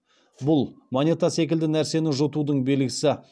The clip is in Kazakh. бұл монета секілді нәрсені жұтудың белгісі